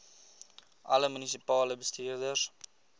alle munisipale bestuurders